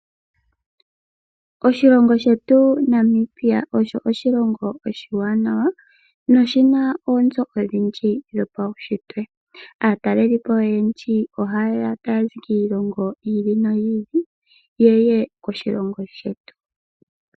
Oshilongo shetu Namibia osho oshilongo oshiwanawa noshina oonzo odhindji dhopaushitwe. Aatalelipo oyendji ohaye ya taya zi kiilongo yi ili noyi ili opoye ye koshilongo shetu.